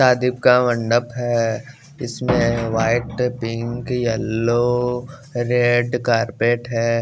आदिव का मंडप है इसमें white pink yellow red carpet है।